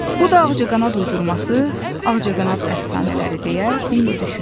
Bu da ağcaqanad uydurması, ağcaqanad əfsanələri deyə Bembi düşündü.